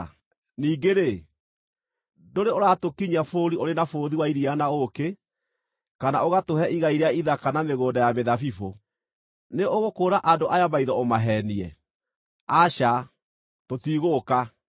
Ningĩ-rĩ, ndũrĩ ũratũkinyia bũrũri ũrĩ na bũthi wa iria na ũũkĩ, kana ũgatũhe igai rĩa ithaka na mĩgũnda ya mĩthabibũ. Nĩ ũgũkũũra andũ aya maitho ũmaheenie? Aca, tũtigũũka!”